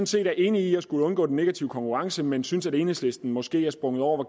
set er enige i at skulle undgå den negative konkurrence men synes at enhedslisten måske er sprunget over